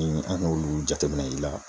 Ni an y'olu jateminɛ i la